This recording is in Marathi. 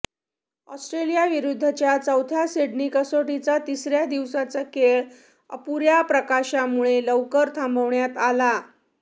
ऑस्ट्रेलियाविरुद्धच्या चौथ्या सिडनी कसोटीचा तिसऱ्या दिवसाचा खेळ अपुऱ्या प्रकाशामुळे लवकर थांबवण्यात आला